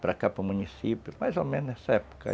para cá, para o município, mais ou menos nessa época.